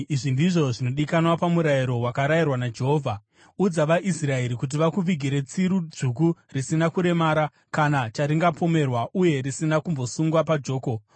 “Izvi ndizvo zvinodikanwa pamurayiro wakarayirwa naJehovha. Udza vaIsraeri kuti vakuvigire tsiru dzvuku risina kuremara, kana charingapomerwa uye risina kumbosungwa pajoko.